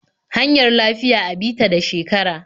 Hanyar lafiya a bi ta da shekara.